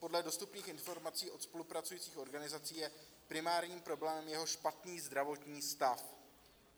Podle dostupných informací od spolupracujících organizací je primární problém jeho špatný zdravotní stav.